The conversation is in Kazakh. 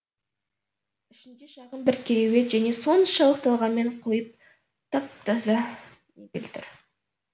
ішінде шағын бір кереует және соншалық талғаммен қойылған тап таза мебель тұр